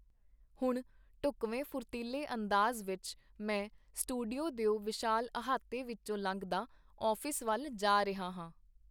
ਹੁਣ ਢੁਕਵੇਂ ਫੁਰਤੀਲੇ ਅੰਦਾਜ਼ ਵਿਚ ਮੈਂ ਸਟੂਡੀਓ ਦਿਓ ਵਿਸ਼ਾਲ ਅਹਾਤੇ ਵਿਚੋਂ ਲੰਘਦਾ ਆਫ਼ਿਸ ਵਲ ਜਾ ਰਿਹਾ ਹਾਂ.